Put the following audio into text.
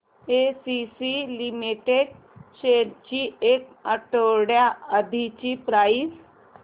ACC limited shares ची एक आठवड्या आधीची प्राइस